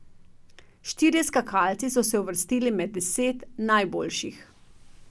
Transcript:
Štirje skakalci so se uvrstili med deset najboljših.